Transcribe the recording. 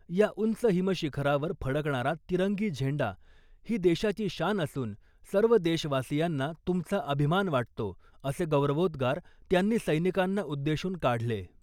या उंच हिम शिखरावर फडकणारा तिरंगी झेंडा ही देशाची शान असून सर्व देशवासियांना तुमचा अभिमान वाटतो असे गौरवोद्गार त्यांनी सैनिकांना उद्देशून काढले .